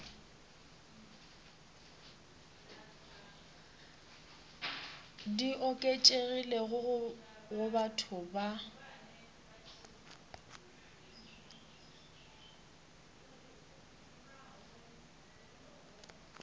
di oketšegilego go batho ba